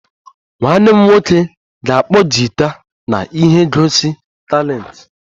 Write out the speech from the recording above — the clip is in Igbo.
Nwanne m nwoke ga-akpọ gita na ihe ngosi talenti